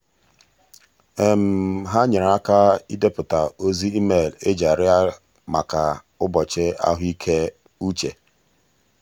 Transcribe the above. ha nyere aka idepụta ozi email eji arịọ maka ụbọchị ahụike uche.